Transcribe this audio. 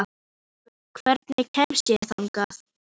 Nansý, hvernig kemst ég þangað?